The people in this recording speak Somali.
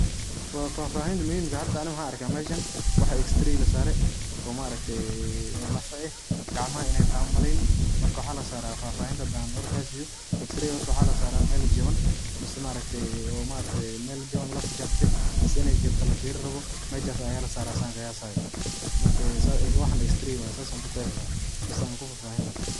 Faahfaahinta muhiimka xad ani waxan arka meshan wax xtray lasaree, o maaraktee oo lafaa exx, gamaxa jawan inay umaleyni, marka waxa lasaraa x fafafahinta xadhan war kasiyo, xtray waxa lasaraa, mel jawan mise maaraktaee mise maaraktee, mel jawan laf jabte, mise inay jabtee lafirinirawo, meshas ayan lasaraa san qiyasay, marka waxan xtray wayee sas aya kugexii laxay mise an kufafaxini laxay.